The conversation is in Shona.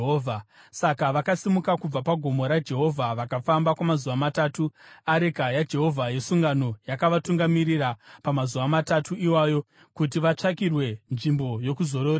Saka vakasimuka kubva pagomo raJehovha vakafamba kwamazuva matatu. Areka yaJehovha yesungano yakavatungamirira pamazuva matatu iwayo kuti vatsvakirwe nzvimbo yokuzororera.